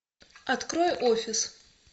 открой офис